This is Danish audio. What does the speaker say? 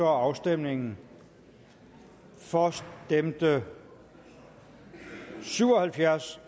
afstemningen for stemte syv og halvfjerds